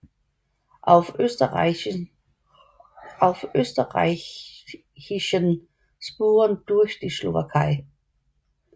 Auf österreichischen Spuren durch die Slowakei